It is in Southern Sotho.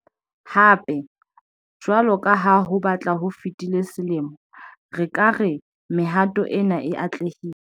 Hape, jwalo ka ha ho batla ho fetile selemo, re ka re mehato ena e atlehile.